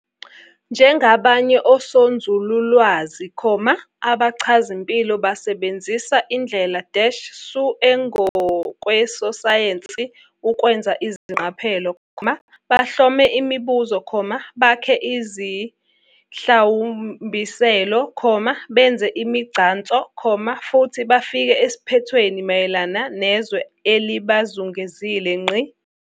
Njengabanye oSonzululwazi, abachazimpilo basebenzisa indlela-su engokwesayensi ukwenza izingqaphelo, bahlome imibuzo, bakhe izihlawumbiselo, benze imigcanso, futhi bafike esiphethweni mayelana nezwe elibazungezile.